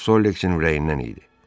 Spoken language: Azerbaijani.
Bu Sollexin ürəyindən idi.